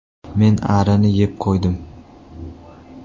Men arini yeb qo‘ydim.